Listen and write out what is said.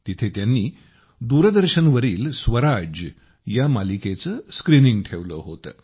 तिथे त्यांनी दूरदर्शनवरील स्वराज या मालिकेचे स्क्रीनिंग ठेवले होते